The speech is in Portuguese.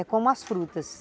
É como as frutas.